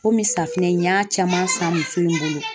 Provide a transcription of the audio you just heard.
Komi safunɛ in n y'a caman san muso in bolo ,